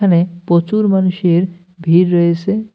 এখানে প্রচুর মানুষের ভিড় রয়েসে।